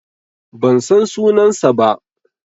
Ban san sunansa ba.